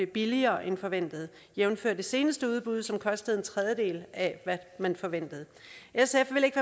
billigere end forventet jævnfør det seneste udbud som kostede en tredjedel af hvad man forventede sf vil ikke